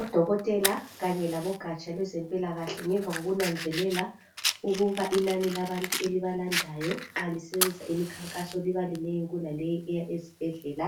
Odokotela kanye labogatsha lwezempilakahle ngemva kokunanzelele ukuba inani labantu elibalandayo nxa lisenza imikhakaso liba linengi kulaleyi eya esibhedlela